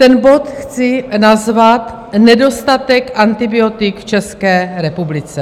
Ten bod chci nazvat Nedostatek antibiotik v České republice.